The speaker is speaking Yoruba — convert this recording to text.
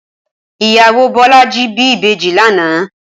Ìyáwó Bolaji bi ibéji lànã